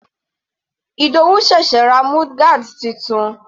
Ìdòwú sẹ̀sẹ̀ ra mudguard titun.